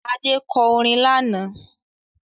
Adé kọ orin lánàá